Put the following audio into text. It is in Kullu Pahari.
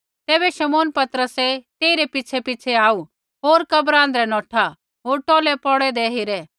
तैबै शमौन पतरसै तेइरै पिछ़ैपिछ़ै आऊ होर कब्र आँध्रै नौठा होर टौलै पौड़ु हौन्दे हेरे